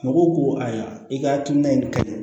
Mɔgɔw ko ayiwa i ka hakilina in de